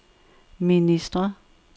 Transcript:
ministre